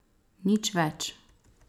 Nič več.